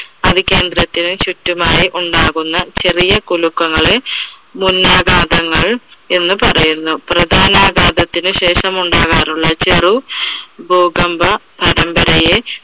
അവികേന്ദ്രത്തിന് ചുറ്റുമായി ഉണ്ടാകുന്ന ചെറിയ കുലുക്കങ്ങളെ മുന്നാഘാതങ്ങൾ എന്ന് പറയുന്നു. പ്രധാനാഘാതത്തിന് ശേഷം ഉണ്ടാകാറുള്ള ചെറു ഭൂകമ്പ പരമ്പരയെ